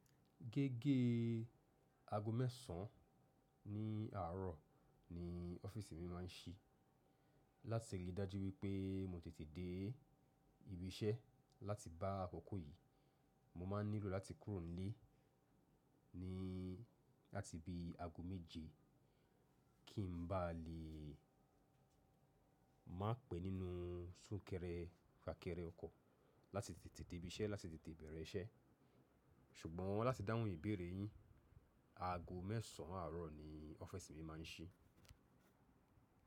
Gẹ́gẹ́ aago mẹ́sàn án ní àárọ̀ ni ọ́fíísì mi máa ń ṣí. Láti lè dájú wípé mo tètè dé ibi iṣẹ́ láti bá akọ̀kọ̀ yìí, mo máa ń nílò láti kúrò nílé ní láti bi aago méje kí n ba lè má pẹ́ nínú súnkẹrẹ fàkẹrẹ ọkọ̀ láti tètè dé ibi iṣẹ́, láti tètè bẹ̀rẹ̀ iṣẹ́. Ṣùgbọ́n láti dáhùn ìbéèrè yín, aago mẹ́sàn án àárọ̀ ni ọ́fíísì mi máa ń ṣí.